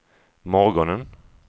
morgonen